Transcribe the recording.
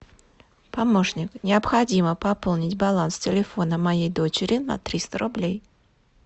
помощник необходимо пополнить баланс телефона моей дочери на триста рублей